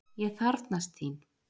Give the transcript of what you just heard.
Ég þarfnast þín!